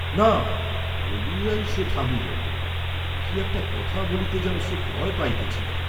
"না," বলিয়াই সে থামিল। কি একটি কথা বলিতে যেন সে ভয় পাইতেছিল।